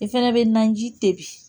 I fana bɛ naji tebi